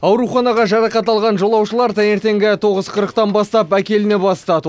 ауруханаға жарақат алған жолаушылар таңертеңгі тоғыз қырықтан бастап әкеліне бастады